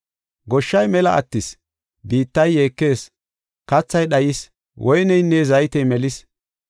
Goshshay mela attis; biittay yeekees; kathay dhayis; woyneynne zaytey melis.